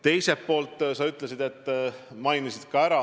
Teiselt poolt, sinagi mainisid õlitehaseid.